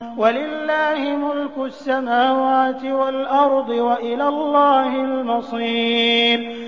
وَلِلَّهِ مُلْكُ السَّمَاوَاتِ وَالْأَرْضِ ۖ وَإِلَى اللَّهِ الْمَصِيرُ